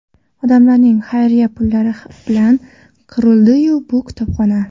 Odamlarning xayriya pullari bilan qurildi bu kutubxona.